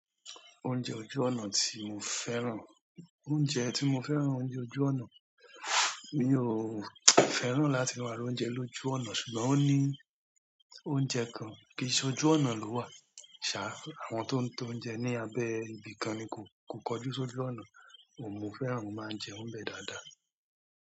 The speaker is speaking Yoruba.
Oúnjẹ ojú ọ̀nà tí mo fẹ́ràn, oúnjẹ tí mo fẹ́ràn oúnjẹ ojú ọ̀nà, mi ò fẹ́ràn láti máa rà oúnjẹ lójú ọ̀nà ṣùgbọ́n ó ní oúnjẹ kan kìí ṣe ojú ọ̀nà ló wà. Ṣàá, àwọn tó ń tọ́ oúnjẹ ní abẹ́ ibi kan ni kò, kò kọjú sí ojú ọ̀nà, òun mo fẹ́ràn ó máa ń jẹun bẹ́ẹ̀ dáadáa.